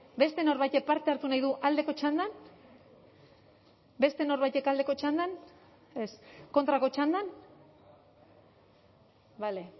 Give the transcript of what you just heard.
beste norbaitek parte hartu nahi du aldeko txandan beste norbaitek aldeko txandan ez kontrako txandan bale